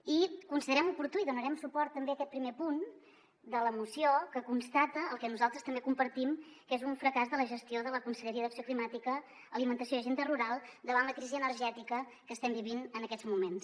i considerem oportú i donarem suport també a aquest primer punt de la moció que constata el que nosaltres també compartim que és un fracàs de la gestió de la conselleria d’acció climàtica alimentació i agenda rural davant la crisi energètica que estem vivint en aquests moments